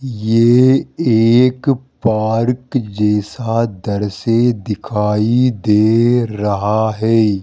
ये एक पार्क जैसा दृश्य दिखाई दे रहा है।